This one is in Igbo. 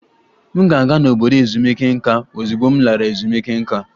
M ga-aga n'obodo ezumike nká ozugbo m lara ezumike nká